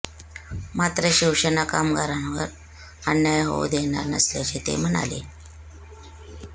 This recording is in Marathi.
मात्र शिवसेना कामगारांवर अन्याय होऊ देणार नसल्याचे ते म्हणाले